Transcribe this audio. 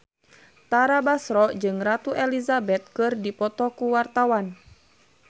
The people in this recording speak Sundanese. Tara Basro jeung Ratu Elizabeth keur dipoto ku wartawan